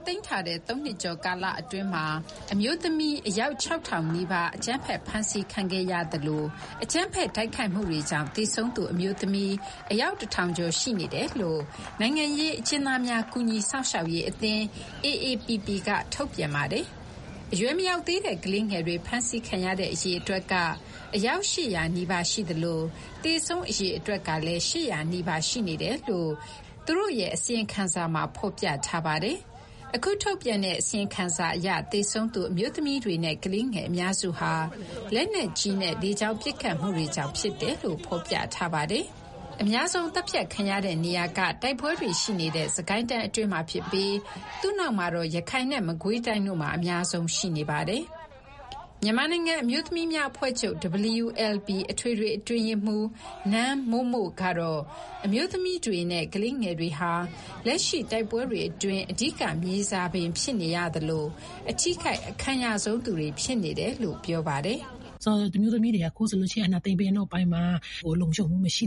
သိမ်းထားတဲ့ ၃ နှစ်ကျော်ကာလအတွင်းမှာ အမျိုးသမီးအယောက် ၆,၀၀၀ နီးပါး အကြမ်းဖက်ဖမ်းဆီးခံခဲ့ရသလို အကြမ်းဖက် တိုက်ခိုက်မှုတွေကြောင့် သေဆုံးသူအမျိုးသမီးအယောက် ၁,၀၀၀ ကျော်ရှိနေတယ်လို့ နိုင်ငံရေးအကျဉ်သားများ ကူညီစောင့်ရှောက်ရေးအသင်း (AAPP) က ထုတ်ပြန်ပါတယ်။ အရွယ်မရောက်သေးတဲ့ ကလေးငယ်တွေဖမ်းဆီးခံရတဲ့အရေအတွက်က အယောက် ၈၀၀ နီးပါးရှိသလို သေဆုံးအရေအတွက်ကလည်း ၈၀၀ နီးပါးရှိနေတယ်လို့သူတို့ရဲ့ အစီရင်ခံစာမှာ ဖော်ပြထားပါတယ်။ အခုထုတ်ပြန်တဲ့ အစီရင်ခံစာအရ သေဆုံးသူအမျိုးသမီးတွေနဲ့ကလေးငယ်အများစုဟာ လက်နက်ကြီးနဲ့ လေကြောင်းပစ်ခတ်မှုတွေကြောင့်ဖြစ်တယ်လို့ ဖော်ပြထားပါတယ်။ အများဆုံးသတ်ဖြတ်ခံရတဲ့နေရာက တိုက်ပွဲတွေရှိနေတဲ့ စစ်ကိုင်းတိုင်းအတွင်းမှာဖြစ်ပြီး သူ့နောက်မှာတော့ ရခိုင်နဲ့မကွေးတိုင်းတို့မှာ အများဆုံးရှိနေပါတယ်။ မြန်မာနိုင်ငံအမျိုးသမီးများအဖွဲ့ချုပ် WLB အထွေထွေအတွင်းရေးမှူး နမ်းမို့မို့ကတော့ အမျိုးသမီးတွေနဲ့ ကလေးငယ်တွေဟာ လက်ရှိတိုက်ပွဲတွေအတွင်း အဓိကမြေစာပင်ဖြစ်နေရသလို အထိခိုက်အခံရဆုံးသူတွေဖြစ်နေတယ်လို့ ပြောပါတယ်။ “အာဏာသိမ်းပြီးနောက်ပိုင်းမှာ အမျိုးသမီးတွေလုံခြုံမှုမရှိ